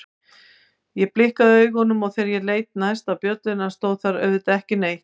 Ég blikkaði augunum og þegar ég leit næst á bjölluna stóð þar auðvitað ekki neitt.